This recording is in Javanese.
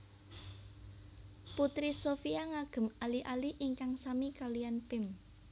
Putri Shopia ngagem ali ali ingkang sami kaliyan Pim